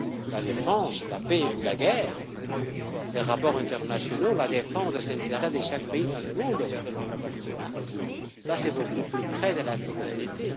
La défense, la paix ou la guerre, les rapports internationaux, la défense des intérêts de chaque pays dans le monde, tout cela est beaucoup plus près de la souveraineté.